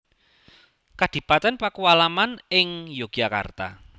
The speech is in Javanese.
Kadipaten Pakualaman ing Yogyakarta